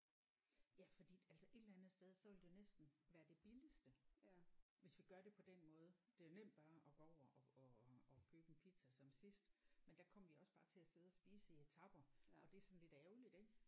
Ja fordi altså et eller andet sted så ville det næsten være det billigste hvis vi gør det på den måde det er jo nemt bare at gå over og og og købe en pizza som sidst men der kom vi også bare til at sidde og spise i etaper og det er sådan lidt ærgerligt ik